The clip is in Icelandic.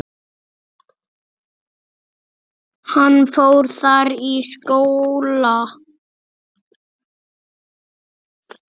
Hann fór þar í skóla.